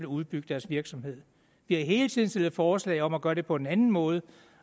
udbygge deres virksomhed vi har hele tiden stillet forslag om at gøre det på en anden måde og